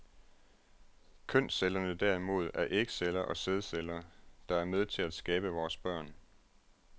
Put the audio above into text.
Kønscellerne derimod er ægceller og sædceller, der er med til at skabe vores børn.